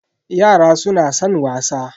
Yara suna san wasa.